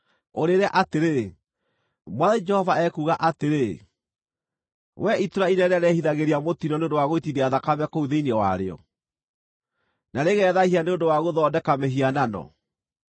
ũrĩĩre atĩrĩ, ‘Mwathani Jehova ekuuga atĩrĩ: Wee itũũra inene rĩrĩa rĩĩrehithagĩria mũtino nĩ ũndũ wa gũitithia thakame kũu thĩinĩ warĩo, na rĩgethaahia nĩ ũndũ wa gũthondeka mĩhianano,